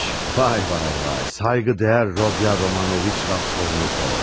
Vay vay vay, sayqı dəyər Rodya Romanoviç Raskolnikov.